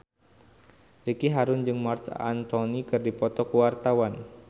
Ricky Harun jeung Marc Anthony keur dipoto ku wartawan